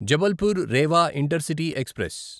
Jabalpur Rewa intercity express